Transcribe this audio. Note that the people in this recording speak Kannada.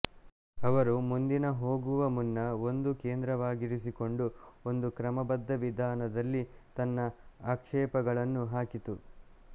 ಅವರು ಮುಂದಿನ ಹೋಗುವ ಮುನ್ನ ಒಂದು ಕೇಂದ್ರವಾಗಿರಿಸಿಕೊಂಡು ಒಂದು ಕ್ರಮಬದ್ಧ ವಿಧಾನದಲ್ಲಿ ತನ್ನ ಆಕ್ಷೇಪಗಳನ್ನು ಹಾಕಿತು